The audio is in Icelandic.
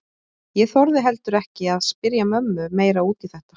Ég þorði heldur ekki að spyrja mömmu meira út í þetta.